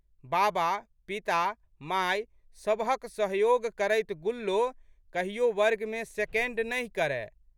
बाबा, पिता, माय सबहक सहयोग करैत गुल्लो कहियो वर्गमे सेकेंड नहि करए।